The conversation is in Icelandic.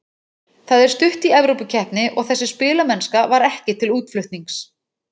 Það er stutt í Evrópukeppni og þessi spilamennska var ekki til útflutnings.